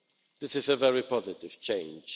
This is a very positive change.